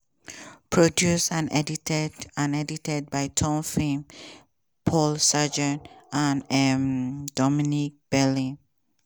produced and edited and edited by tom finn paul sargeant and um dominic bailey.